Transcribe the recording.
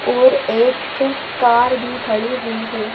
और एक कार भी खड़ी हुई है।